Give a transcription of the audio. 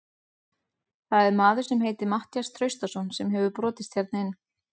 Það er maður sem heitir Matthías Traustason sem hefur brotist hérna inn.